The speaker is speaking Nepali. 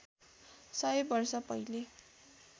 सय वर्ष पहिले